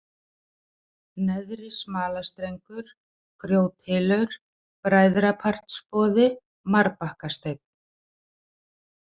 Neðri-Smalastrengur, Grjóthylur, Bræðrapartsboði, Marbakkasteinn